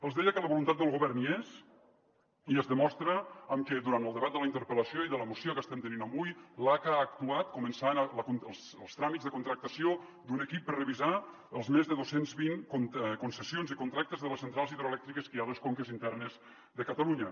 els deia que la voluntat del govern hi és i es demostra amb que durant el debat de la interpel·lació i de la moció que estem tenint avui l’aca ha actuat començant els tràmits de contractació d’un equip per revisar les més de dos cents i vint concessions i con·tractes de les centrals hidroelèctriques que hi ha a les conques internes de catalu·nya